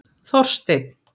Þorsteinn